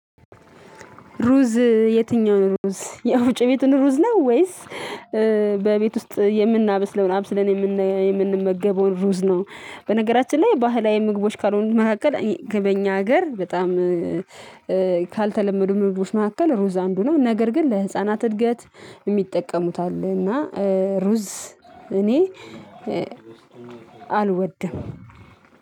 ሩዝ የትኛውን ሩዝ ያወፍጮ ቤቱን ሩዝ ነው ወይስ? በቤት ውስጥ የምናበስለውን አብስለን የምንመገበውን ሩዝ ነው። በነገራችን ላይ ባህላዊ ምግቦች ካልሆኑ መካከል በኛ ሀገር በጣም ካልተለመዱ ምልቦች መካከል ሩዝ አንዱነው ነገር ግን ለህፃናት እድገት የሚጠቀሙት አለ። እና ሩዝ እኔ አልወድም